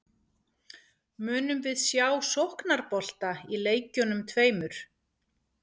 Munum við sjá sóknarbolta í leikjunum tveimur?